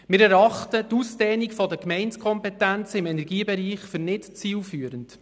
Wir erachten die Ausdehnung der Gemeindekompetenzen im Energiebereich als nicht zielführend.